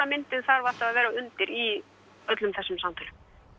myndin þarf alltaf að vera undir í öllum þessum samtölum